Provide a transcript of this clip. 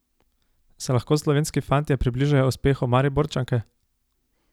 Se lahko slovenski fantje približajo uspehu Mariborčanke?